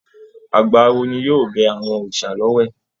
Àgbà awo ni yóò bẹ àwọn òòsà l'ọwẹ̀.